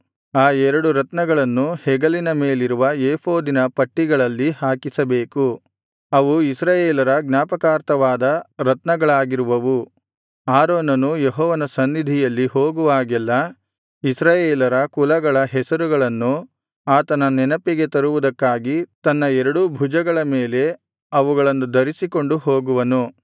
ಆ ಎರಡು ರತ್ನಗಳನ್ನು ಹೆಗಲಿನ ಮೇಲಿರುವ ಏಫೋದಿನ ಪಟ್ಟಿಗಳಲ್ಲಿ ಹಾಕಿಸಬೇಕು ಅವು ಇಸ್ರಾಯೇಲರ ಜ್ಞಾಪಕಾರ್ಥವಾದ ರತ್ನಗಳಾಗಿರುವವು ಆರೋನನು ಯೆಹೋವನ ಸನ್ನಿಧಿಯಲ್ಲಿ ಹೋಗುವಾಗೆಲ್ಲಾ ಇಸ್ರಾಯೇಲರ ಕುಲಗಳ ಹೆಸರುಗಳನ್ನು ಆತನ ನೆನಪಿಗೆ ತರುವುದಕ್ಕಾಗಿ ತನ್ನ ಎರಡೂ ಭುಜಗಳ ಮೇಲೆ ಅವುಗಳನ್ನು ಧರಿಸಿಕೊಂಡು ಹೋಗುವನು